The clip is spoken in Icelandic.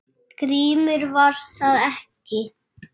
GRÍMUR: Var það ekki!